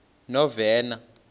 novena